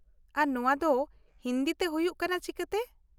ᱟᱨ ᱱᱚᱶᱟ ᱫᱚ ᱦᱤᱱᱫᱤ ᱛᱮ ᱦᱩᱭᱩᱜ ᱠᱟᱱᱟ ᱪᱤᱠᱟᱹᱛᱮ ?